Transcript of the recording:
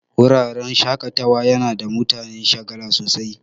Wuraren shaƙatawa yana sa mutane shagala sosai